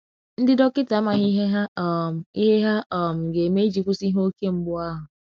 Ndi dọkita amaghị ihe ha um ihe ha um ga - eme iji kwụsị ihe oke mgbụ ahụ.